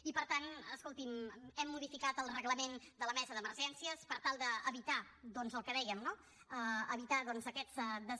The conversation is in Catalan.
i per tant escolti’m hem modificat el reglament de la mesa d’emergències per tal d’evitar doncs el que dèiem no evitar doncs aquests